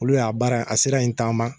Olu y'a baara a sira in taama.